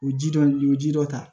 O ji dɔ o ye ji dɔ ta